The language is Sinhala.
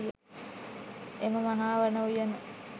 එම මහා වන උයන